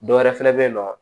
Dɔ wɛrɛ fɛnɛ be yen nɔ